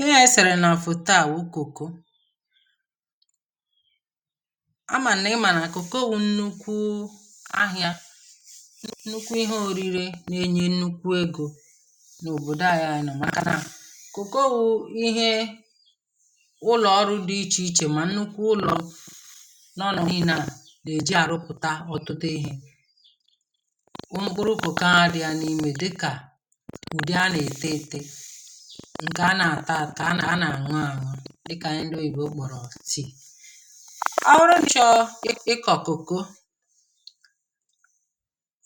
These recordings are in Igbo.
ihì a e sèrè nà òfòtaa wù Cocoa a mà nà ị mà nà Cocoa wu nnukwu ahịȧ nnukwu ihe ȯri̇ri̇ nà-enye nnukwu egȯ n’òbòdò ahịȧ yȧ nà ọ̀ maka nà Cocoa wu ihe ụlọ̀ ọrụ dị ichè ichè mà nnukwu ụlọ̀ n’ọnọ̀ nine na à nà-èji àrụpụ̀ta ọ̀tụtụ ihė. Mkpụrụ Cocoa a di yá n'ime dịka ndị a na e ǹkè a nà-àta kà a nà a nà-àñụ añụ dịkà ndị oyi̇bo ụkpọ̀rọ̀ tea. ọbụrụ na i chọrọ ị ịkọ̀ cocoa,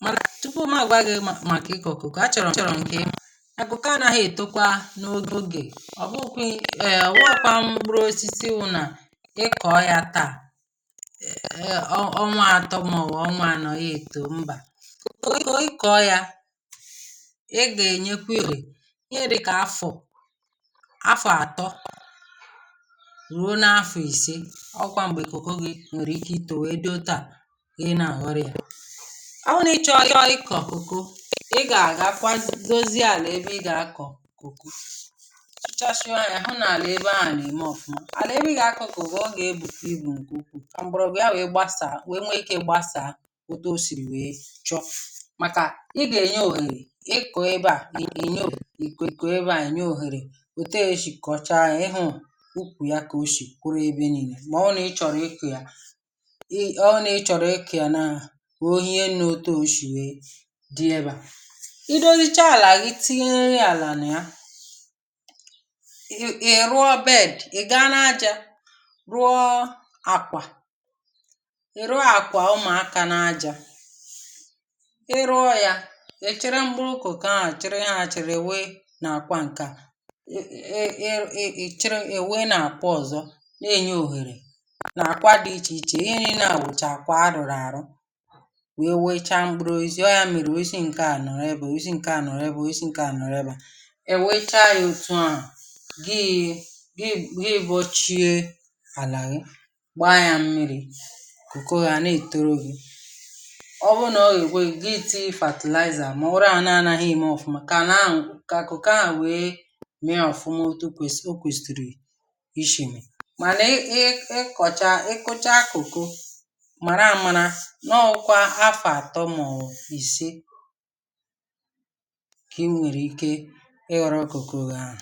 màtụ̀ tupu ụmụ̀ agwaghị ụmụ̀ màkà ị kọ̀ọ cocoa, a chọ̀rọ̀ m a chọ̀rọ̀ m ka ị mara na Cocoa a naghi etokwa n'oge abụghị um abụghị kwa mkpụrụ osisi wuna ịkọọ taa ọnwa atọ yá etoo mba ị kọ̀ọ yȧ I ga enyekwa yá ohere ihe dịka afọ afọ̀ àtọ ruo n’afọ̀ ìse ọkwa m̀gbè kòko gị nwèrè ike itȯ wèe dị otu à gị na-àhọrọ̇ ya. Ọ bụrụ na ị chọọ ị chọọ ịkọ̀ cocoa ị gà-àgà akwa dozi àlà ebe ị gà-akọ̀ cocoa tụchaa sia ya ọ nà àna ebe ahụ̀ nà-ème ọ̀fọ̀. Alà ebe ị gà-akọ̀ cocoa ọ gà-ebù ebù ka m̀gbọgwụ ya wèe gbasàà wèe nwee ikė gbasàà otu o sìrì wèe chọ maka ị ka enye ohere ị kõọ ebea ị nye ohere ị kọọ ébé a nye ohere otė esì kọ̀ọcha yȧ ịhụ̇ ukwu ya kà o shì kụrụ ebe ni̇nè, mà ọ nà ị chọ̀rọ̀ i kọọ yȧ e ọ nà ị chọ̀rọ̀ i kọọ yȧ na ò hie nne etụ a o shì wèe dị ebe à. Ị doghịchaa àlà gị̀ tinye yȧ àlà nà ya ị rụọ bed ị̀ gaa n’ajȧ rụọ àkwà ị rụọ àkwà ụmụ̀aka n’ajȧ, ị rụọ̇ yȧ ị chiri m̀kpụrụ cocoa a chiri ya àchìrì we na akwa nkea ị wee na akwa ọ̀zọ̀ nye yá ohere na akwa dị iche iche, ihe nile a bucha akwa arụlụ arụ ị wecha à mkpụrụ ozi ọ yȧ mere ọsi ǹke a nọ̀rọ ebe a osi nke a nọrọ osi nke a nọrọ ebe a. i wecha ya òtù a gị gị bụọchie ana gbaa ya mmiri̇ cocoa gị a na-ètoro gị̇. Ọ bụrụ nà ọ gà-ekwe gị tii fertilizer mà ọbụ ana-anaghị eme ọfụma ka ana ka cocoa a wee afụnwu otu okwesiri, mànà ị ịkọcha ị kụchaa cocoa màrà àmàrà n’ọkwa afọ atọ mọ̀bụ̀ ìse kà ị nwèrè ike ịghọ̀rọ cocoa gị ahụ̀.